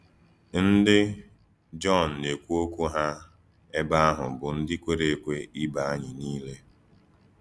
Ndí Jọn na-ekwù òkwú hà èbé àhụ̀ bụ ndí kwèrè èkwè ìbè ànyí niile.